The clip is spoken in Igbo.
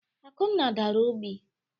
Akunna dara ogbi.